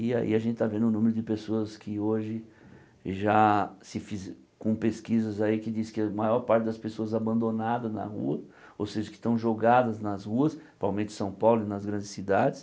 E aí a gente está vendo o número de pessoas que hoje já se fize com pesquisas aí que diz que a maior parte das pessoas abandonadas na rua, ou seja, que estão jogadas nas ruas, provavelmente em São Paulo e nas grandes cidades.